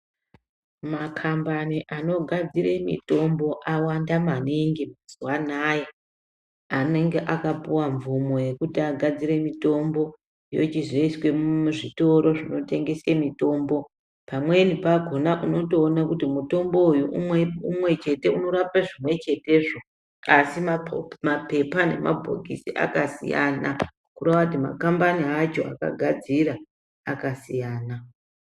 Makambani anogadzire mitombo awanda maningi mazuva anaya. Anenge akapuva mvumo yekuti agadzire mitombo yochizoiswe muzvitoro zvinotengese mitombo. Pamweni pakona unotoona kuti mutombo uyu umwe chete unorape zvimwe chetezvo kasi mapepa nemabhokisi akasiyana. Kureva kuti makambani acho akagadzira akasiyana.